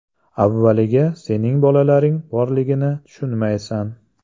Avvaliga sening bolalaring borligini tushunmaysan.